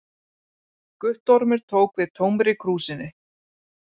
Guttormur tók við tómri krúsinni.